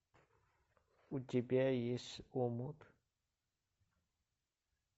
у тебя есть омут